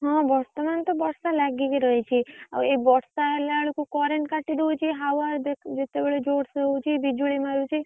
ହଁ ବର୍ତମାନ ତ ବର୍ଷା ଲାଗିକୀ ରହିଛି ଆଉ ଏଇ ବର୍ଷା ହେଲା ବେଳକୁ current କାଟିଦଉଛି हवा ଯେତେବେଳେ ଜୋରସେ ହଉଛି ବିଜୁଳି ମାରୁଛି।